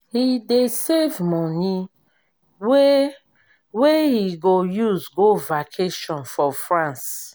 he dey save money wey wey he go use go vacation for france